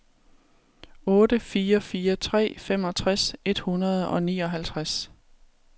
otte fire fire tre femogtres et hundrede og nioghalvtreds